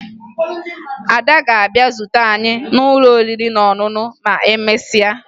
Ada ga-abịa zute anyị n'ụlọ oriri na ọṅụṅụ ma emesịa